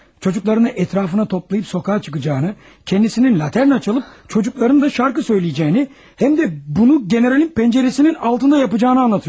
Uşaqlarını ətrafına toplayıb küçəyə çıxacağını, özünün laterna çalıb uşaqlarının da mahnı oxuyacağını, həm də bunu generalın pəncərəsinin altında edəcəyini danışır.